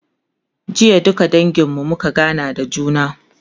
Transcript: jiya duka dangin mu muka gana da juna